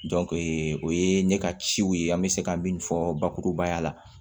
o ye ne ka ciw ye an bɛ se ka min fɔ bakurubaya la